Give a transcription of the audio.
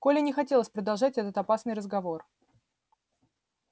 коле не хотелось продолжать этот опасный разговор